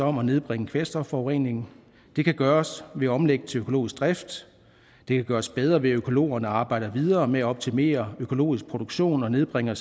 om at nedbringe kvælstofforureningen det kan gøres ved at omlægge til økologisk drift det kan gøres bedre ved at økologerne arbejder videre med at optimere økologisk produktion og nedbringer